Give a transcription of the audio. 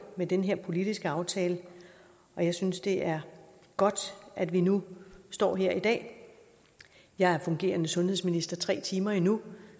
med den her politiske aftale og jeg synes det er godt at vi nu står her i dag jeg er fungerende sundhedsminister tre timer endnu